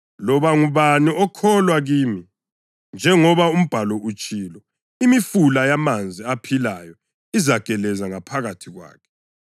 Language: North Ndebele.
Loba ngubani okholwa kimi njengoba uMbhalo utshilo, imifula yamanzi aphilayo izageleza ngaphakathi kwakhe.”